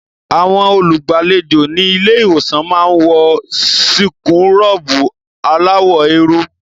Àwọn olùgbàlejò ní ilé-ìwòsàn máa ń wọ síkúrọ̀bù aláwọ̀ eérú.